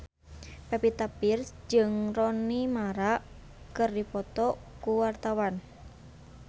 Pevita Pearce jeung Rooney Mara keur dipoto ku wartawan